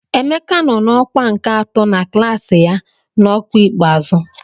Emeka nọ na ọkwa nke atọ na klaasị ya n'ọkwa ikpeazụ.